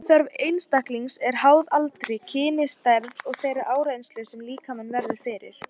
Orkuþörf einstaklinga er háð aldri, kyni, stærð og þeirri áreynslu sem líkaminn verður fyrir.